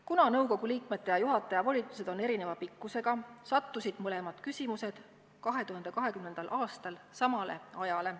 Kuna nõukogu liikmete ja juhataja volitused on erineva pikkusega, sattusid mõlemad küsimused 2020. aastal samale ajale.